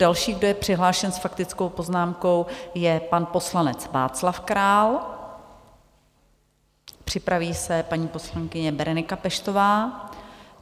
Další, kdo je přihlášen s faktickou poznámkou, je pan poslanec Václav Král, připraví se paní poslankyně Berenika Peštová.